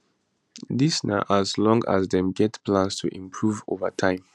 dis na as long as dem get plans to improve over time